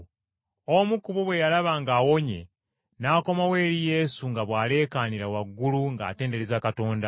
Omu ku bo bwe yalaba ng’awonye n’akomawo eri Yesu nga bw’aleekaanira waggulu ng’atendereza Katonda.